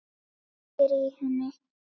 Kveikir í henni.